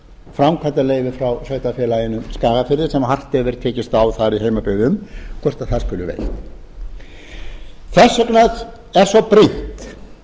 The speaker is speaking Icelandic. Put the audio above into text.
framkvæmdaleyfi frá sveitarfélaginu skagafirði sem hart hefur verið tekist á þar í heimabyggð um hvort það skuli veitt þess vegna er svo brýnt